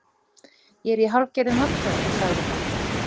Ég er í hálfgerðum vandræðum- sagði hann.